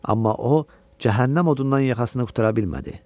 Amma o cəhənnəm odundan yaxasını qurtara bilmədi.